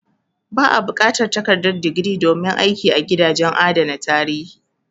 Ba a buƙatar takardar digiri domin aiki a gidajen adana tarihi.